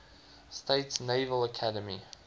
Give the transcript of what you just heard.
states naval academy